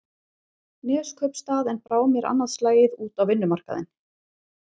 Neskaupstað en brá mér annað slagið út á vinnumarkaðinn.